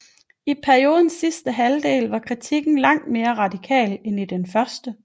I periodens sidste halvdel var kritikken langt mere radikal end i den første